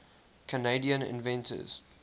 canadian inventors